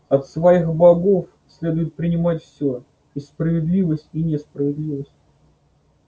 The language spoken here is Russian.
от своих богов следует принимать всё и справедливость и несправедливость